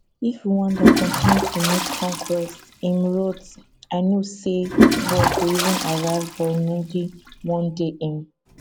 if rwanda continue to make conquests im wrote i know say war go even arrive burundi one day im